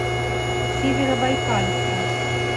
северобайкальска